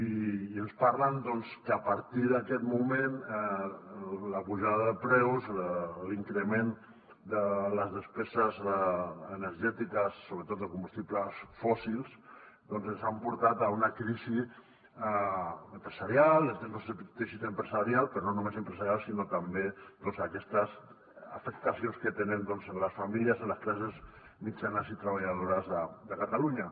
i ens parlen doncs que a partir d’aquest moment la pujada de preus l’increment de les despeses energètiques sobretot de combustibles fòssils ens han portat a una crisi empresarial del nostre teixit empresarial però no només empresarial sinó també aquestes afectacions que tenen en les famílies en les classes mitjanes i treballadores de catalunya